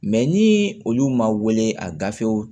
ni olu ma wele ka gafew